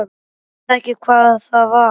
Ég veit ekki hvað það var.